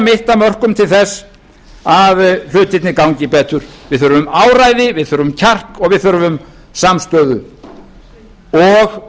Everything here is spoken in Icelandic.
mitt af mörkum til þess að hlutirnir gangi betur við þurfum áræði við þurfum kjark og við þurfum samstöðu og